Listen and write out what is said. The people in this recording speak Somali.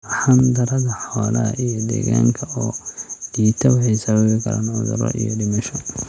Arxan darada xoolaha iyo deegaanka oo liita waxay sababi karaan cuduro iyo dhimasho.